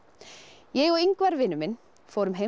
ég og Ingvar vinur minn fórum heim til